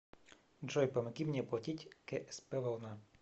джой помоги мне оплатить ксп волна